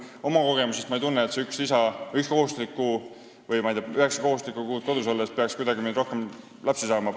Oma kogemusest ütlen, et ma ei tunne, et see üks kohustuslik lisakuu või üheksa kohustuslikku kuud kodus paneks mind kuidagi rohkem lapsi saama.